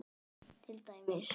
Til dæmis.